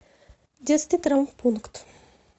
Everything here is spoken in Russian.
детский травмпункт